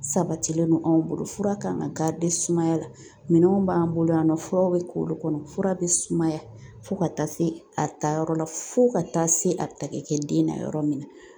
Sabatilen don anw bolo fura kan ka sumaya la minɛnw b'an bolo yan nɔ furaw be k'olu kɔnɔ fura be sumaya fo ka taa se a ta yɔrɔ la fo ka taa se a bɛ ta kɛ den na yɔrɔ min na .